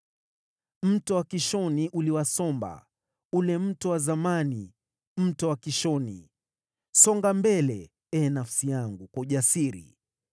Mto wa Kishoni uliwasomba, ule mto wa zamani, mto wa Kishoni. Songa mbele, ee nafsi yangu, kwa ujasiri!